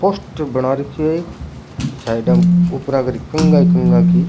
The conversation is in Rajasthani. पोस्टर बना रखयो है एक साइडा में उपरा कर कंघा ही कंघा की।